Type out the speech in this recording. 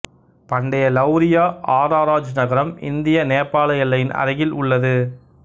பண்டைய லௌரியா ஆராராஜ் நகரம் இந்தியநேபாள எல்லையின் அருகில் உள்ளது